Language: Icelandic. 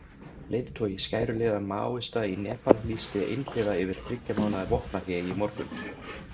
Leiðtogi skæruliða Maóista í Nepal lýsti einhliða yfir þriggja mánaða vopnahléi í morgun.